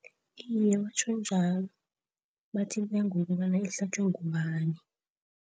Iye batjho njalo bathi iya ngokobana ihlatjwe ngubani.